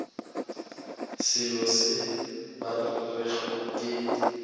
selo se ba rego ke